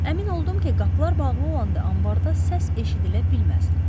Əmin oldum ki, qapılar bağlı olanda anbarda səs eşidilə bilməzdi.